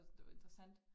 Altså det var interessant